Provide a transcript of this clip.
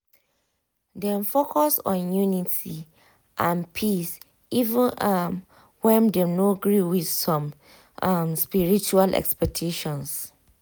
dem focus on unity and peace even um when dem no gree with some um spiritual expectations.